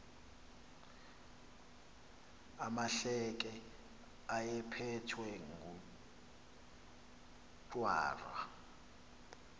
amahleke ayephethwe ngujwarha